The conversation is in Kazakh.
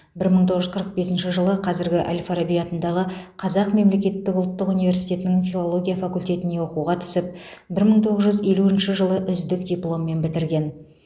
бір мың тоғыз жүз қырық бесінші жылы қазіргі әл фараби атындағы қазақ мемлекеттік ұлттық университетінің филология факультетіне оқуға түсіп бір мың тоғыз жүз елуінші жылы үздік дипломмен бітірген